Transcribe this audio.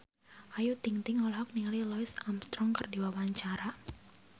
Ayu Ting-ting olohok ningali Louis Armstrong keur diwawancara